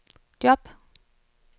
job